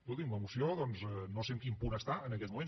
escolti’m la moció doncs no sé en quin punt està en aquests moments